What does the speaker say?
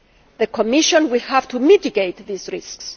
The Commission will have to mitigate these risks.